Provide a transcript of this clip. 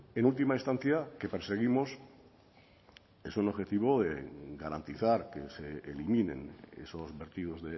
en última instancia que perseguimos es un objetivo de garantizar que se eliminen esos vertidos